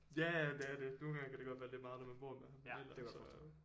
Ja ja det er det nogle gange kan det godt være lidt meget når man bor med ham ellers så